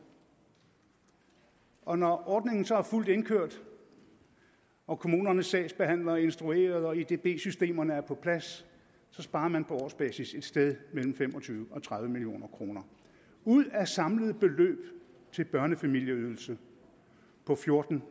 og når ordningen så er fuldt indkørt og kommunernes sagsbehandlere er instrueret og edb systemerne er på plads sparer man på årsbasis et sted mellem fem og tyve og tredive million kroner ud af et samlet beløb til børnefamilieydelse på fjorten